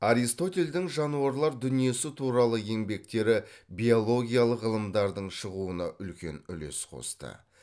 аристотельдің жануарлар дүниесі туралы еңбектері биологиялық ғылымдардың шығуына үлкен үлес қосты